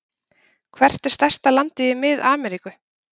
Hvert er stærsta landið í Mið-Ameríku?